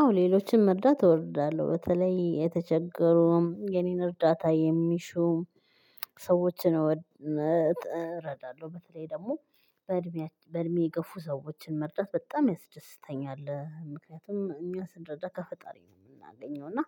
አዎ ሌሎችን መርዳት እወርዳለሁ በተለይ የተቸገሩም የኔን እርዳታ የሚሹም ሰዎችን እረዳለሁ። በተለይ ደግሞ በእድሜ በእድሜ የገፉ ሰዎችን መርዳት በጣም ያስደስተኛል። ምክንያቱም እኛ ስንረዳ ከፈጣሪ ነው የምናገኘው። እና